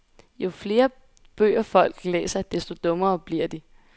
Jo flere bøger folk læser, desto dummere bliver de.